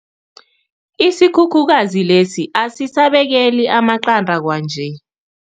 Isikhukhukazi lesi asisabekeli amaqanda kwanje.